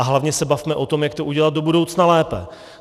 A hlavně se bavme o tom, jak to udělat do budoucna lépe.